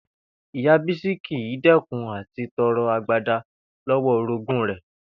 Ìyá Bísí kì í dé̩kun à ti to̩ro̩ agbada ló̩wó̩ orogún rè̩